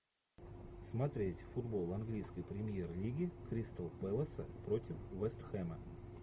смотреть футбол английской премьер лиги кристал пэласа против вест хэма